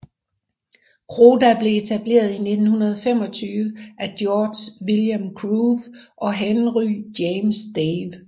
Croda blev etableret i 1925 af George William Crowe og Henry James Dawe